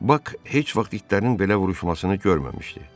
Bak heç vaxt itlərin belə vuruşmasını görməmişdi.